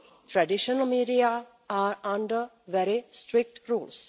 Traditional media are under very strict rules.